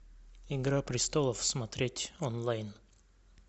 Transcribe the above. игра престолов смотреть онлайн